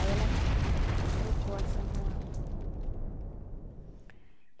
Aí ela trocou a Santa Ana.